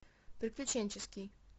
приключенческий